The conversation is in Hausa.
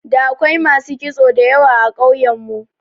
Da akwai masu kitso da yawa a ƙauyen mu.